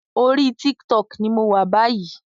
Orí TikTok ní mọ wá bayi